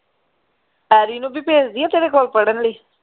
Harry ਨੂੰ ਵੀ ਭੇਜ ਦੀਏ ਤੇਰੇ ਕੋਲ ਪੜ੍ਹਨ ਲਈ